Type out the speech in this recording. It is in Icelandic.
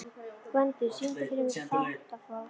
Gvendur, syngdu fyrir mig „Fatlafól“.